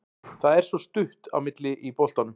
Það er svo stutt á milli í boltanum.